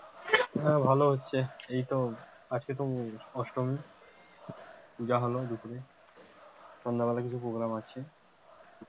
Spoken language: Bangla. না ভাল হচ্ছে, এই তো আজকে অষ্টমি, পুজা হোল, সন্ধ্যে বেলাতে program আছে,